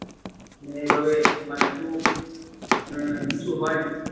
মানে এভাবে মানে কোন আহ কিছু হয় না।